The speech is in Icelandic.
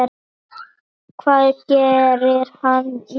Hvað gerir hann næst?